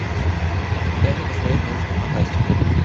дай мне посмотреть научную фантастику